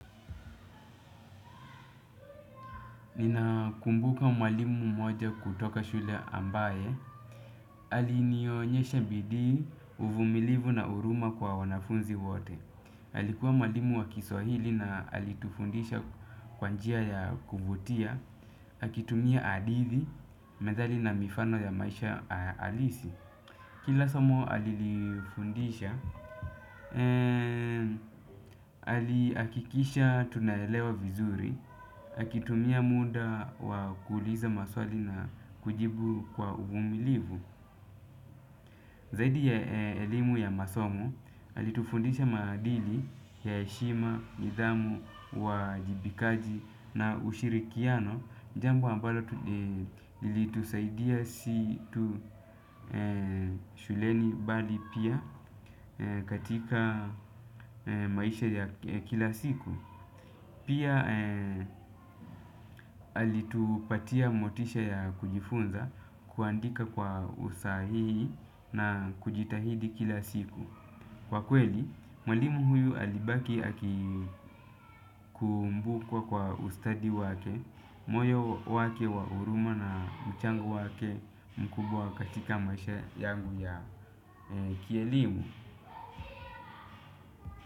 Ninakumbuka mwalimu mmoja kutoka shule ambaye alinionyesha bidii, uvumilivu na huruma kwa wanafunzi wote. Alikuwa mwalimu wa kiswahili na alitufundisha kwa njia ya kuvutia. Akitumia hadithi, methali na mifano ya maisha halisi. Kila somo alilifundisha. Alihakikisha tunaelewa vizuri. Akitumia muda wa kuuliza maswali na kujibu kwa uvumilivu. Zaidi ya elimu ya masomo alitufundisha maadili ya heshima, nidhamu, uwajibikaji na ushirikiano. Jambo ambalo ilitusaidia si tu shuleni bali pia katika maisha ya kila siku. Pia alitupatia motisha ya kujifunza kuandika kwa usahihi na kujitahidi kila siku. Kwa kweli, mwalimu huyu alibaki akikumbukwa kwa ustadi wake, moyo wake wa huruma na mchango wake mkubwa katika maisha yangu ya kielimu.